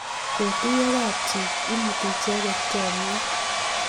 Katuiyo kapchi, imuti icheget chomyet